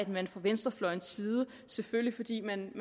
man fra venstrefløjens side selvfølgelig fordi man